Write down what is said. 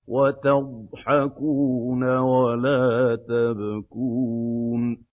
وَتَضْحَكُونَ وَلَا تَبْكُونَ